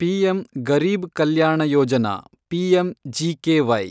PM Garib Kalyan Yojana, PMGKY